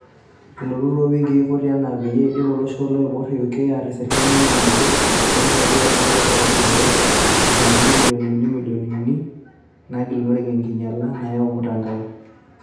Elotu too wiki kutik enaa peyie eidip olosho olooibor (UK) aatisir Kenya enaa nabo oo nkuapi olkila orok naadupore njilingini ibilioni uni o milioni iip uni naagilunoreki enginyiala nayau mutandao.